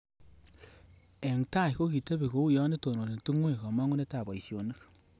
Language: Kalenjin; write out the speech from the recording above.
Eng tai kokitebi kouyo itononi tungwek kamongunetab boisionik